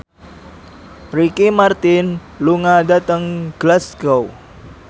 Ricky Martin lunga dhateng Glasgow